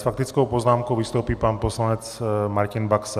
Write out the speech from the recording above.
S faktickou poznámkou vystoupí pan poslanec Martin Baxa.